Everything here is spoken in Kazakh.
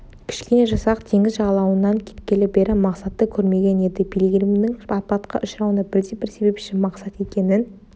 кішкене жасақ теңіз жағалауынан кеткелі бері мақсатты көрмеген еді пилигримнің апатқа ұшырауына бірден-бір себепші мақсат екенін